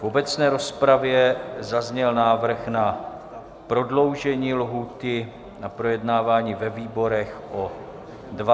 V obecné rozpravě zazněl návrh na prodloužení lhůty na projednávání ve výborech o 20 dnů.